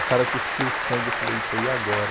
O cara cuspiu sangue, eu falei, eita, e agora?